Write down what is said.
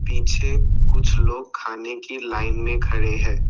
पीछे कुछ लोग खाने की लाइन में खड़े हैं।